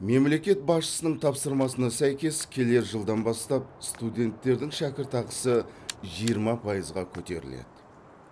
мемлекет басшысының тапсырмасына сәйкес келер жылдан бастап студенттердің шәкіртақысы жиырма пайызға көтеріледі